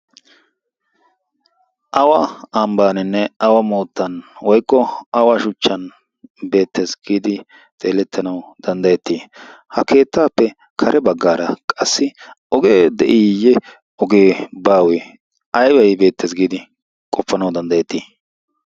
awa ambbaaninne awa moottan woyqqo awa shuchchan beettes. giidi xeelettanawu danddayettii ha keettaappe kare baggaara qassi ogee de'iiyye ogee baawe aybai beettees. giidi qoppanawu danddayettii?